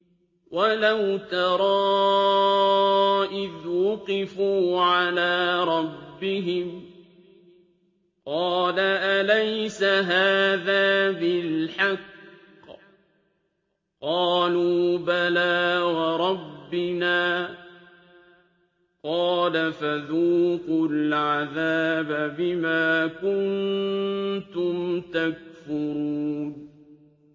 وَلَوْ تَرَىٰ إِذْ وُقِفُوا عَلَىٰ رَبِّهِمْ ۚ قَالَ أَلَيْسَ هَٰذَا بِالْحَقِّ ۚ قَالُوا بَلَىٰ وَرَبِّنَا ۚ قَالَ فَذُوقُوا الْعَذَابَ بِمَا كُنتُمْ تَكْفُرُونَ